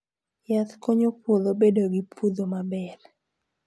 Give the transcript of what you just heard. Yath konyo puodho bedo gi puodho maber.